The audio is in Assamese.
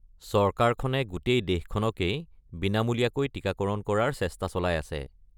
চৰকাৰখনে গোটেই দেশখনকেই বিনামূলীয়াকৈ টিকাকৰণ কৰাৰ চেষ্টা চলাই আছে।